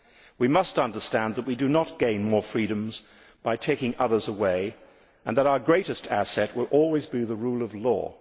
We must understand that we do not gain more freedoms by taking others away and that our greatest asset will always be the rule of law.